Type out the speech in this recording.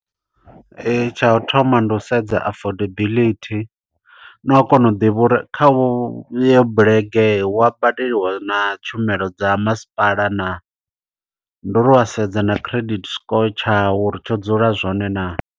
Tsha u thoma ndi u sedza affordability, na u kona u ḓivha uri kha uvho yo bulege wa badeliwa na tshumelo dza masipala naa. Ndi uri wa sedza na credit score tshau uri tsho dzula zwone naa.